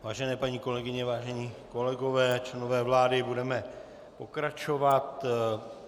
Vážené paní kolegyně, vážení kolegové, členové vlády, budeme pokračovat.